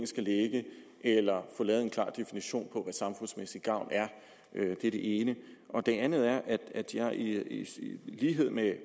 skal ligge eller få lavet en klar definition af hvad samfundsmæssig gavn er det er det ene det andet er at jeg i lighed med